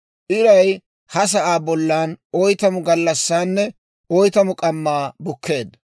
Iray ha sa'aa bollan oytamu gallassaanne oytamu k'ammaa bukkeedda.